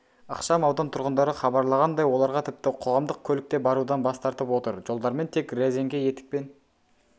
ықшамаудан тұрғындары хабарлағандай оларға тіпті қоғамдық көлік те барудан бас тартып отыр жолдармен тек рәзңке етікпен